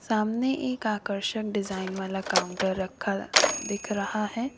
सामने एक आकर्षण डिजाइन वाला काउंटर रखा दिख रहा है।